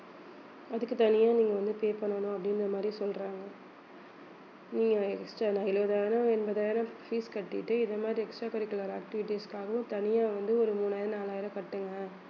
அதுக்கு தனியா நீங்க வந்து pay பண்ணணும் அப்படிங்கிற மாதிரி சொல்றாங்க நீங்க extra நான் எழுபதாயிரம், எண்பதாயிரம் fees கட்டிட்டு இந்த மாதிரி extra curricular activities காகவும் தனியா வந்து ஒரு மூணாயிரம் நாலாயிரம் கட்டுங்க